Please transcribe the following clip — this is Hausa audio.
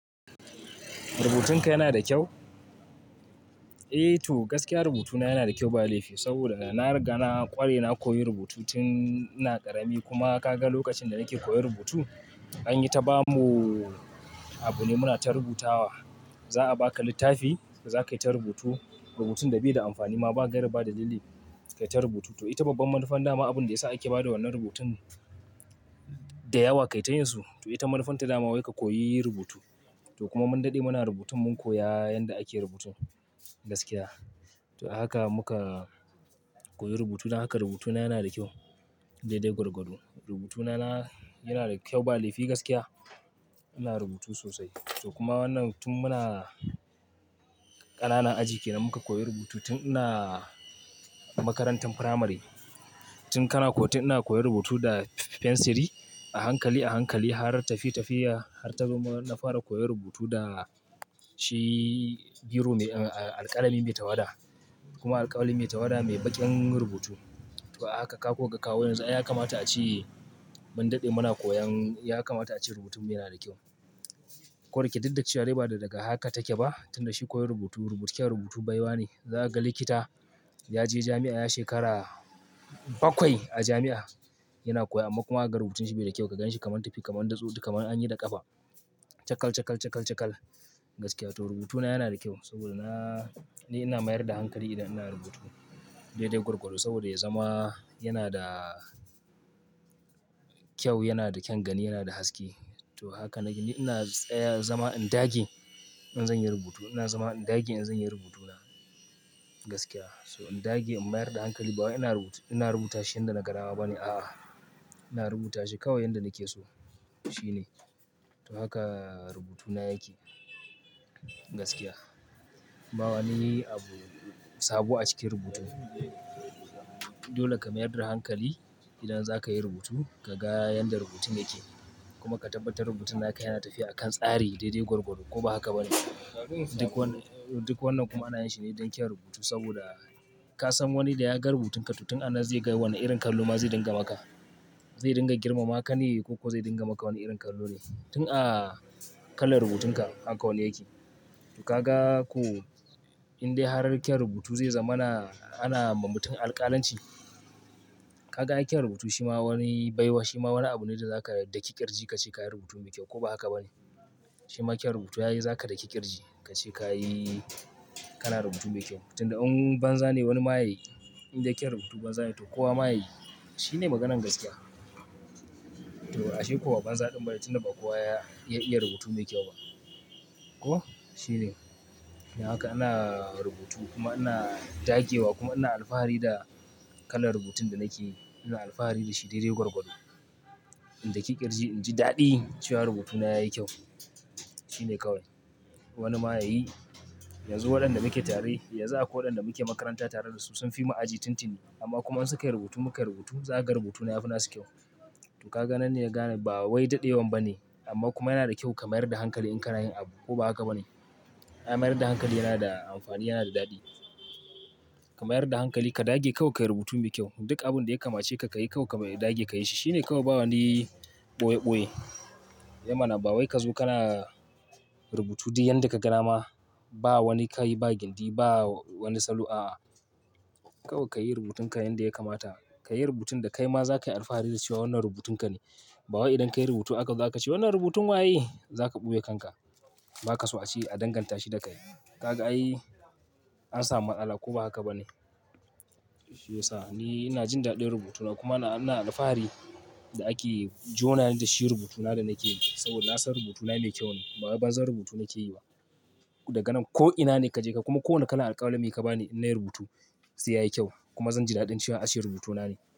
Rubutunka yana da kyau? Eh to gaskiya rubutuna yana da kyau ba laifi saboda na riga na ƙware, na koyi rubutu tun ina ƙarami kuma ka ga lokacin da nake koyi rubutu anyi ta bamu abu ne muna ta rubutawa. Za a baka littafi za ka yi ta rubutu. Rubutun da bai da amfani ma ba gaira ba dalili ka yi ta rubutu. To ita babban manufan dama abun da ya sa ake ba da wannan rubutun da yawa ka yi ta yin su. To ita manufan ta dama wai ka koyi yi rubutu. To kuma mun daɗe muna rubutun mun koya yanda ake rubutu gaskiya. To haka muka koyi rubutu. Don haka rubutuna yana da kyau daidai gwargwado. Rubutuna yana da kyau ba laifi gaskiya. Ina rubutu sosai. To kuma wannan tun muna ƙanana aji kenan muka koyi rubutu tun ina makarantan firamare. Tun kana kotun ina koyi rubutu da fensiri a hankali a hankali har tafiye tafiye har ta zo na fara koyi rubutu da shi biro mai alƙalami mai tawada kuma alƙawali mai tawada mai baƙin rubutu. To a haka kaga kawo yanzu ai ya kamata aache rubutun mu yanada kyau dukda chewa dai ba daga haka take bah tunda shi koyan rubuta baiwa ne zakaga likita yaje jamia ya shekara bakwai a jamia yana koya amma kuma zakaga rubutunshi baida kyau ka ganshi kamar anyi da kafa chakal chakal chakal gaskiya to rubutuna yana kyau gaskiya saboda ni ina mayar da hankali i ina rubutu saboda ya zamanto yanada kyau yaba daukan hankali to haka ne ina zama in dage in zanyi rubutu, ina zama in dage in zanyi rubutuna gaskiya in dage in mayar da hankali bawai ina rubutu ina rubutashi yanda naga dama bane aa ina rubutashi kawai yanda nakeso shine to haka rubutuna yake gaskiya. Ba wani abu sabo a cikin rubutu dole ka mayar da hankali idan zakayi rubutu kaga yanda rubutun yake kuma ka tabbatar rubutun yana tafiya a kan tsari daidai gorgodo duk wannan kuma ana yinshine don kyaun rubutu kasan wani da yaga rubutun ka to tun a nan zai ga wani irin kallo yake maka. Zai dinga girmama ka ne ko kuwa zai dinga maka wani irin kallo ne. Tun a kalar rubutunka haka wani yake to kaga koh indai har kyan rubutu zai zamana ana wa mutum alkalanci kaga ai kyaun rubutu shima wani baiwa wani abune da zaka daki kirji kache kayi rubutu mai kyau ko ba haka bane shima kyau rubutu ai zaka daki kirji kache kayi kana rubutu mai kyau tunda in banza ne kowa yayi in dai kyaun rubutu banzane to kowa ma yayi shine maganan gaskiya. To ashe ko ba banza bane tunda ba kowa ya iya rubutu mai kyau bah ko shine don haka ina rubutu kuma ina dagewa kuma ina alfahari da kalan rubutun da nakeyi ina alfahari dashi daidai gorgodo in daki kirji inji dadi chewa rubutuna yayi kyau shine kawai wanima yayi, yanzu wadanda nake tare yanzu akwai wadanda muke makaranta tare dasu sun fimu aji tun tuni, amma kuma in sukayi rubutu mukayi rubutu zakaga rubutuna yafi nasu kyau to kaga nan ne zaka gane ba wai dadenwan bane, amma kuma yanada kyau ka mayar da hankali in kanayin abu ko ba haka bane mayar da hankali yanada amfani yanada dadi, ka. Mayar da hankali ka dage kawai kayi rubutu mai kyau duk abunda ya kamacheka kayi kawai ka dage ka yishi shine kawai ba wani boye boye eh mana ba wai kazo kana rubutu duk yanda kaga dama ba wani kai ba gindi ba wani salo aa kawai kayi rubutunka yanda ya kamata. Ka yi rubutun da kai ma za ka yi alfahari da cewa wannan rubutunka ne. Bawai idan kayi rubutu akazo ache wannan rubutun waye zaka boye kanka bakaso ache an dangantashi da kai kaga ai an sami matsala ko ba haka bane yasa ni ina jin dadin rubutuna kuma ina alfahari da ake jonani da shi rubutuna da nakeyi saboda nasan rubutuna mai kyau ne bawai banzan tubutu nakeyi ba daga nan koh ina ne kajeka kuma ko wani irin alqalami ka bani in nayi rubutu sai yayi kyau kuma zanji dadin a san cewa rubutuna ne.